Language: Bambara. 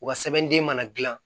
U ka sɛbɛnden mana dilan